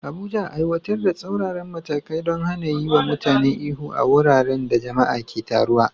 Abuja, aiwatar da tsauraran matakai don hana yiwa mutane ihu a wuraren da jama'a ke taruwa.